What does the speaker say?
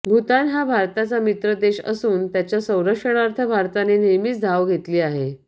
भूतान हा भारताचा मित्रदेश असून त्याच्या संरक्षणार्थ भारताने नेहमीच धाव घेतली आहे